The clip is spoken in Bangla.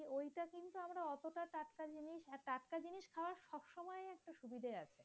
সুবিধা আছে